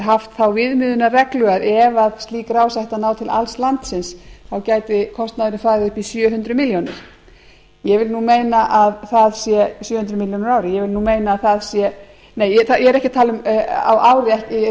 haft á viðmiðunarreglu að ef slík rás átti að ná til alls landsins gæti kostnaðurinn farið upp í sjö hundruð milljónir á ári ég vil meina að það sé ég er ekki að tala um á ári ég er að